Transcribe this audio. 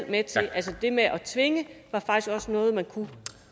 med til altså det med at tvinge var faktisk også noget man kunne